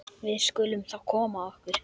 Við skulum þá koma okkur.